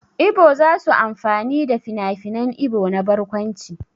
Ibo za su amfani da finafinan Ibo na barkwanci.